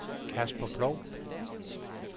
Kasper Ploug